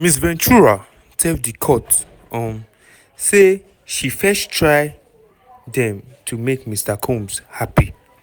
ms ventura tell di court um say she first try dem to make mr combs "happy".